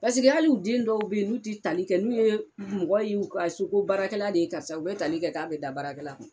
Paseke al'u den dɔw be yen n'u ti tali kɛ n'u ye mɔgɔ ye u ka so ko baarakɛla de ye karisa u be tali kɛ k'a bɛ da baarakɛla kun